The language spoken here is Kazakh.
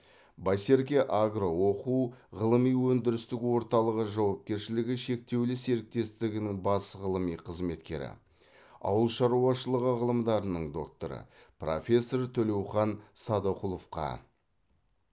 байсерке агро оқу ғылыми өндірістік орталығы жауапкершілігі шектеулі серіктестігінің бас ғылыми қызметкері ауыл шаруашылығы ғылымдарының докторы профессор төлеухан садықұловқа